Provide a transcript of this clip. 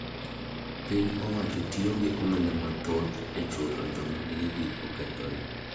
Piny owacho tiyo gi omenda mathoth e chulo joam gige gi okethore.